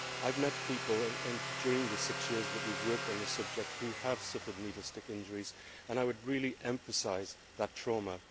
I have met people during the six years that we have worked on this subject who have suffered needle stick injuries, and I would really emphasise that trauma.